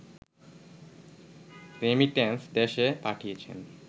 remittance দেশে পাঠিয়েছেন